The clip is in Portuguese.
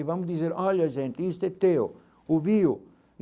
E vamos dizer, olha gente, isto é teu, ouviu.